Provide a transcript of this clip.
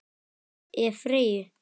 Ef. Freyju